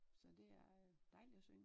Så det er dejligt at synge